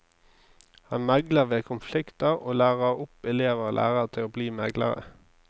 Han megler ved konflikter, og lærer opp elever og lærere til å bli meglere.